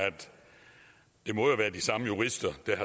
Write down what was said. det må være de samme jurister der